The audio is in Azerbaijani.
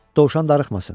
Dovşan darıxmasın.